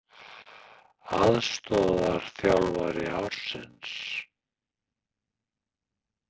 Aðstoðarþjálfari ársins?